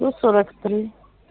ну сорок три